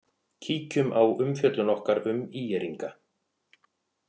Kíkjum á umfjöllun okkar um ÍR-inga.